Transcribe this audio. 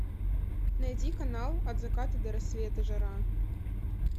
найди канал от заката до рассвета жара